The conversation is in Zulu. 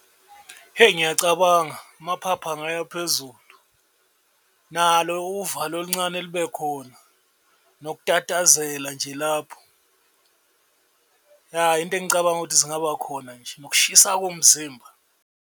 Hheyi ngiyacabanga amaphaphu angayaphezulu nalo uvalo oluncane lube khona, nokutatazela nje lapho, ya into engicabanga ukuthi zingaba khona nje nokushisa komzimba.